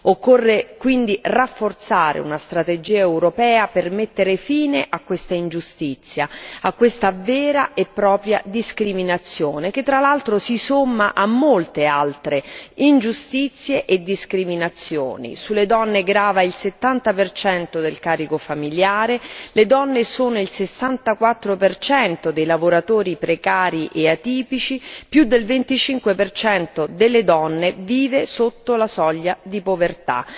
Occorre quindi rafforzare una strategia europea per mettere fine a questa ingiustizia, a questa vera e propria discriminazione che, fra l'altro, si somma a molte altre ingiustizie e discriminazioni sulle donne grava il 70 percento del carico familiare, esse rappresentano il 64 percento dei lavoratori precari e atipici, più del 25 percento delle donne vive sotto la soglia di povertà.